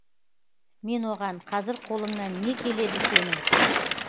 мен оған қазір қолыңнан не келеді сенің